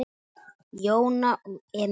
Jóna og Enok.